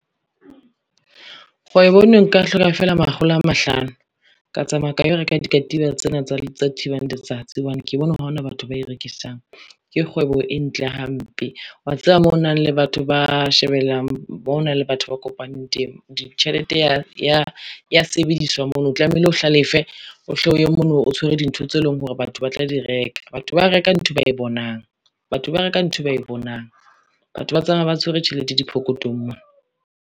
Kgwebo eno nka hloka fela makgolo a mahlano, ka tsamaya ka yo reka dikatiba tsena tsa thibang letsatsi, hobane ke bone hore ha hona batho ba rekisang, ke kgwebo e ntle hampe. Wa tseba mo na le batho ba kopanang teng tjhelete ya sebediswa mono o tlameile o hlalefe, o hle o ye mono o tshwere dintho tse leng hore batho ba tla di reka. Batho ba reka ntho ba e bonang, batho ba reka nthwe ba e bonang, batho ba tsamaya ba tshwere tjhelete diphokothong mona.